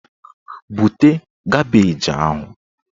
Bute kabeeji ahụ!